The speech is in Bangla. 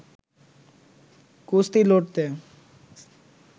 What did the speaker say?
কুস্তি লড়তে